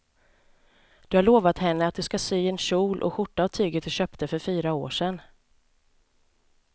Du har lovat henne att du ska sy en kjol och skjorta av tyget du köpte för fyra år sedan.